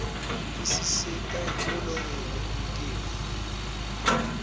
isisita ekulolongeni umtimba